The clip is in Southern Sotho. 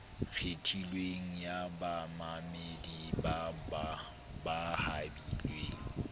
kgethilweng ya bamamedi ba habilweng